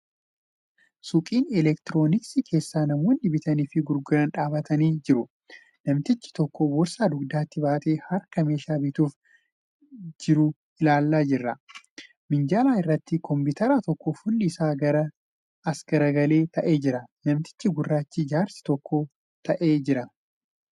Suuqii elektirooniksii keessa namoonni bitanii fi gurguran dhaabbatanii jiru. Namtichi tokko boorsaa dugdatti baatee harkaan meeshaa bituuf jieu ilaalaa jira. Minjaala irratti kompiitarra tokko fuulli. isaa as garagalee taa'aa jira. Namtichi gurraachi jaarsi tokko taa'ee jira.